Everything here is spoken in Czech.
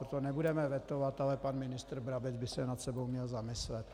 Proto nebudeme vetovat, ale pan ministr Brabec by se nad sebou měl zamyslet.